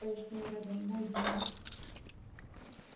дневник пояснил реддл мой дневник